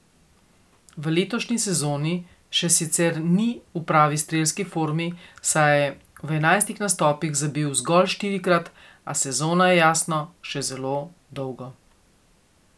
V letošnji sezoni še sicer ni v pravi strelski formi, saj je v enajstih nastopih zabil zgolj štirikrat, a sezona je jasno še zelo dolgo.